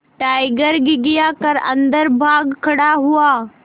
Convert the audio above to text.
tiger घिघिया कर अन्दर भाग खड़ा हुआ